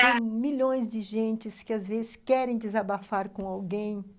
Tem milhões de gente que, às vezes, querem desabafar com alguém.